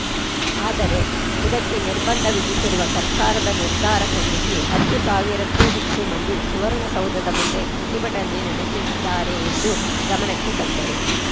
ಆದರೆ ಇದಕ್ಕೆ ನಿರ್ಬಂಧ ವಿಧಿಸಿರುವ ಸರ್ಕಾರದ ನಿರ್ಧಾರ ಖಂಡಿಸಿ ಹತ್ತು ಸಾವಿರಕ್ಕೂ ಹೆಚ್ಚು ಮಂದಿ ಸುವರ್ಣಸೌಧದ ಮುಂದೆ ಪ್ರತಿಭಟನೆ ನಡೆ ಸಿದ್ದರೆ ಎಂದು ಗಮನಕ್ಕೆ ತಂದರು